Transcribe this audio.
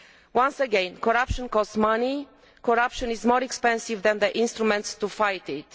crime. Once again, corruption costs money and is more expensive than the instruments to fight